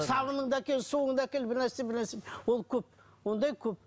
сабыны ды әкел суыңды әкел бірнәрсе бірнәрсе ол көп ондай көп